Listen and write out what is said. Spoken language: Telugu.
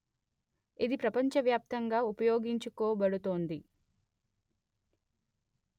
ఇది ప్రపంచవ్యాప్తంగా ఉపయోగించుకోబడుతోంది